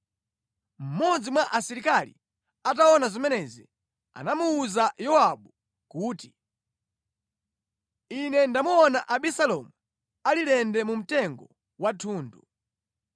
Mmodzi mwa asilikali ataona zimenezi, anamuwuza Yowabu kuti, “Ine ndamuona Abisalomu ali lende mu mtengo wa thundu.”